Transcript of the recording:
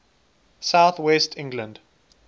south west england